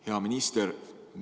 Hea minister!